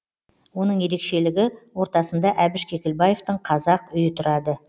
оның ерекшелігі ортасында әбіш кекілбаевтың қазақ үйі тұрады